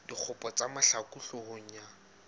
dikgopo tsa mahlaku hloohong ya